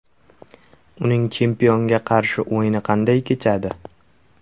Uning chempionga qarshi o‘yini qanday kechadi?